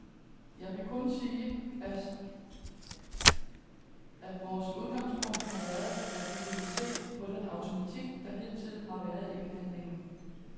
Jeg kan kun sige, at vores udgangspunkt har været, at vi ville se på den automatik, der hidtil har været i behandlingen.